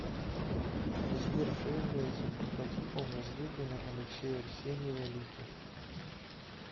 сбер кто является прототипом возлюбленной алексея арсеньева лики